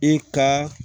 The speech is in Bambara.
I ka